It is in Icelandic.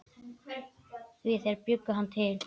Því þeir bjuggu hann til.